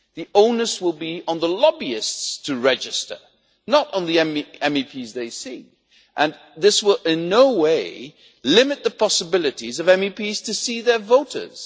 The onus will be on the lobbyists to register, not on the MEPs they see. This will in no way limit the possibilities of MEPs to see their voters.